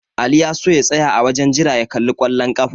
Ali ya so ya tsaya a wajen jira ya kalli ƙwallon ƙafa.